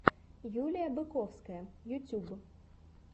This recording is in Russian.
юлия быковская ютьюб